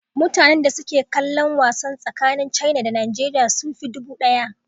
Mutane da suke kallon wasan tsakanin Caina da Nigeriya sun fi dubu ɗaya